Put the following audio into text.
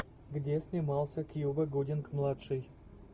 где снимался кьюба гудинг младший